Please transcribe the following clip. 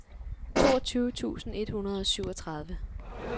toogtyve tusind et hundrede og syvogtredive